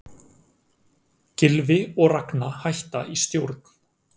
Gylfi og Ragna hætta í stjórn